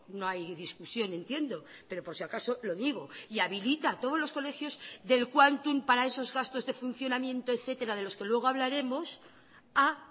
no hay discusión entiendo pero por si acaso lo digo y habilita a todos los colegios del quantum para esos gastos de funcionamiento etcétera de los que luego hablaremos a